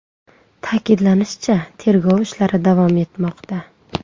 Ta’kidlanishicha, tergov ishlari davom etmoqda.